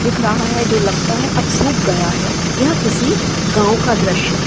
दिख रहा है जो लगता है अब सूख गया है यह किसी गाँव का द्रश्य है |